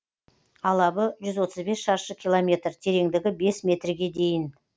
алабы жүз отыз бес шаршы километр тереңдігі бес метрге дейін